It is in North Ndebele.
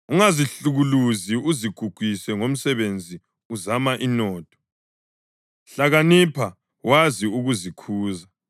Ungazihlukuluzi uzigugise ngomsebenzi uzama inotho; hlakanipha wazi ukuzikhuza.